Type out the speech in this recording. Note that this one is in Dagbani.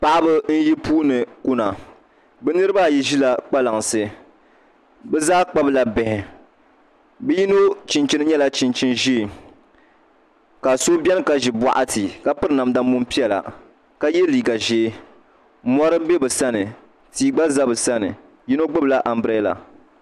Paɣaba n yi puuni kuna bi niraba ayi ʒila kpalansi bi zaa kpabila bihi bi yino chinchin nyɛla chinchin ʒiɛ ka so biɛni ka ʒi boɣati ka piri namda muni piɛla ka yɛ liiga ʒiɛ mori n bɛ bi sani tia gba bɛ bi sani yino gbubila anbirɛla